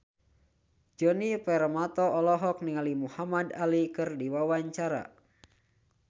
Djoni Permato olohok ningali Muhamad Ali keur diwawancara